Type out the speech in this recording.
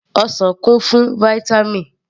Ọsàn kún fún Vítámì